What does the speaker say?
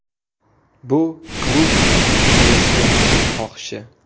Bu klub prezidentining xohishi.